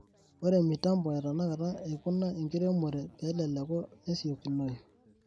Ore mitambo etenakata eikuna enkiremore peleleku nesiokinoyu.